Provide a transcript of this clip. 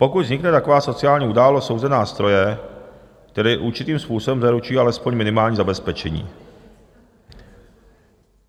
Pokud vznikne taková sociální událost, jsou zde nástroje, které určitým způsobem zaručují alespoň minimální zabezpečení.